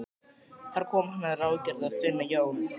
Þar kom að hann ráðgerði að finna Jón